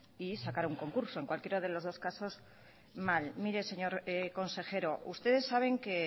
y sacar un concurso en cualquiera de los dos casos mal mire señor consejero ustedes saben que